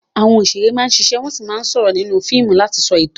Àwọn òṣèré máa ń ṣiṣẹ́ wọ́n sì máa ń sọ̀rọ̀ nínú fíìmù láti sọ ìtàn.